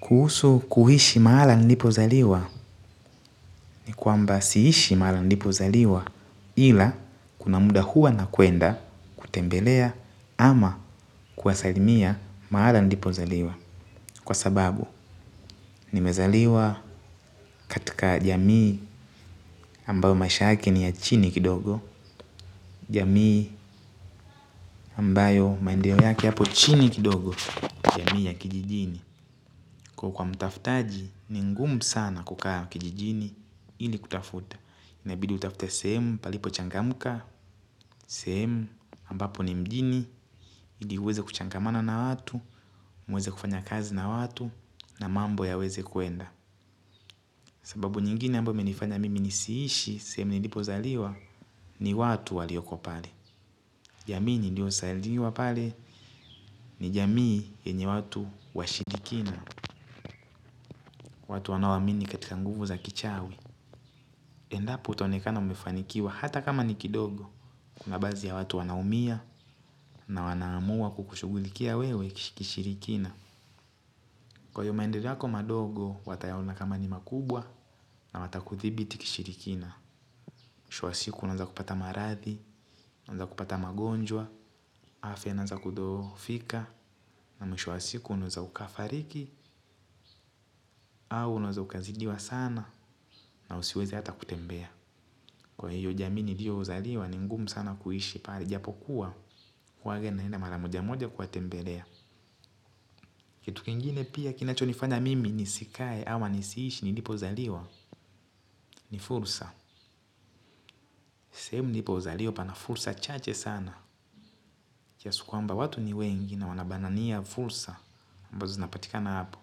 Kuhusu kuishi mahala nilipo zaliwa ni kwamba siishi mahala nilipozaliwa ila kuna muda huwa nakwenda kutembelea ama kuwasalimia mahala nilipo zaliwa kwa sababu nimezaliwa katika jamii ambayo maisha yake ni ya chini kidogo, jamii ambayo maendeleo yake yapo chini kidogo jamii ya kijijini kwa mtaftaji ni ngumu sana kukaa kijijini ili kutafuta. Inabidi utafute sehemu palipo changamuka, sehemu ambapo ni mjini, ili uweze kuchangamana na watu, muweze kufanya kazi na watu, na mambo yaweze kuenda. Sababu nyingine ambayo imenifanya mimi nisiishi, sehemu nilipozaliwa, ni watu walioko pale. Jamii niliozaliwa pale, ni jamii yenye watu washirikina, watu wanaoamini katika nguvu za kichawi. Endapo utaonekana umefanikiwa hata kama ni kidogo kuna baadhi ya watu wanaumia na wanaamua kukushugulikia wewe kishirikina. Kwa hivyo maendeleo yako madogo watayaona kama ni makubwa na watakuthibiti kishirikina. Mwisho wa siku unaanza kupata maradhi, unaanza kupata magonjwa, afya inaanza kudhoofika na mwisho wa siku unaweza ukafariki au unaweza ukazidiwa sana na usiweze hata kutembea. Kwa hiyo jamii niliyozaliwa ni ngumu sana kuishi pale japo kuwa huwa naenda mara moja moja kuwatembelea. Kitu kingine pia kinacho nifanya mimi nisikae ama nisiishi nilipozaliwa ni fursa. Sehemu nilipozaliwa pana fursa chache sana. Kiasi kwamba watu ni wengi na wanabanania fursa ambazo zinapatikana hapo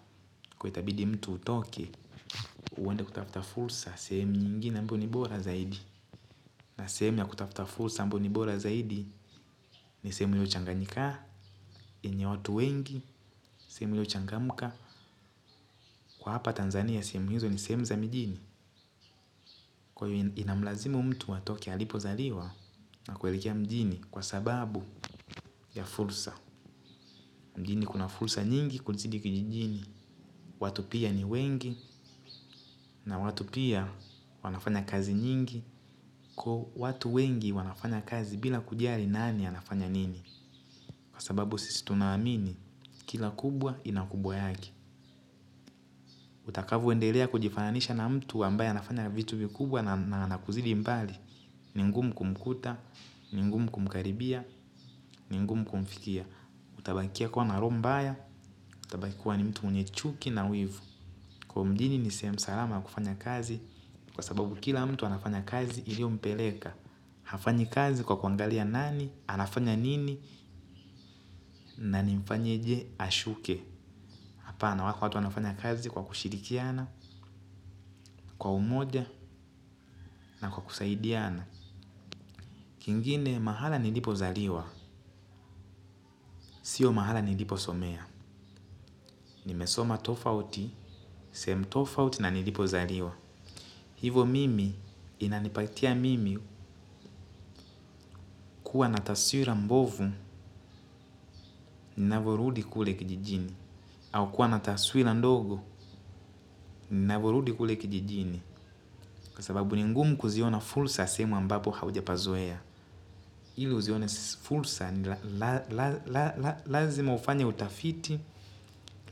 kwa itabidi mtu utoke. Uende kutafuta fursa sehemu nyingine ambayo ni bora zaidi na sehemu ya kutafuta fursa ambayo ni bora zaidi. Ni sehemu iliyochanganyika, yenye watu wengi, sehemu iliyochangamka. Kwa hapa Tanzania, sehemu hizo ni sehemu za mijini. Kwa hiy inamlazimu mtu atoke alipozaliwa na kuelekea mjini kwa sababu ya fursa. Mjini kuna fursa nyingi kuzidi kijijini. Watu pia ni wengi na watu pia wanafanya kazi nyingi. Kwa watu wengi wanafanya kazi bila kujali nani anafanya nini. Kwa sababu sisi tunaaamini, kila kubwa inakubwa yake. Utakavyoendelea kujifananisha na mtu ambaye anafanya vitu vikubwa na ana kuzidi mbali. Ni ngumu kumkuta, ni ngumu kumkaribia, ni ngumu kumfikia. Utabakia kuwa na roho mbaya, utabaki kuwa ni mtu mwenye chuki na wivu. Kwa mjini ni sehemu salama ya kufanya kazi kwa sababu kila mtu anafanya kazi iliyompeleka. Hafanyi kazi kwa kuangalia nani, anafanya nini, na nimfanyeje ashuke. Hapana wako watu wanafanya kazi kwa kushirikiana, kwa umoja na kwa kusaidiana. Kingine mahala nilipozaliwa. Sio mahala niliposomea. Nimesoma tofauti, sehemu tofauti na nilipozaliwa. Hivyo mimi inanipatia mimi kuwa na taswira mbovu, ninavyorudi kule kijijini. Au kuwa nataswira ndogo, ninavyorudi kule kijijini. Kwa sababu ni ngumu kuziona fursa sehemu ambapo haujapazoea. Ili uzione fursa, lazima ufanya utafiti,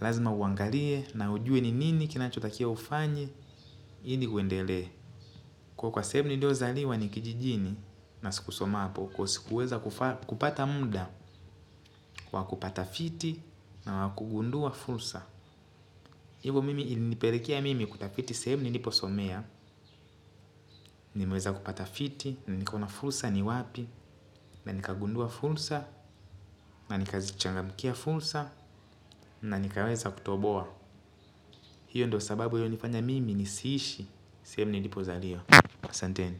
lazima uangalie, na ujue ni nini kinachotakia ufanye, hili uendelee. Kuwa kwa sehemu niliozaliwa ni kijijini, na sikusoma hapo, kwa sikuweza kupata muda, wakupata fiti, na wa kugundua fursa. Hivyo mimi ilinipelekea mimi kutafiti sehemu niliposomea. Nimeweza kupata fiti na nikaona fursa ni wapi na nikagundua fursa na nikazichangamkia fursa na nikaweza kutoboa. Hiyo ndio sababu iliyonifanya mimi nisiishi 7sehemu nilipozaliwa. Asanteni.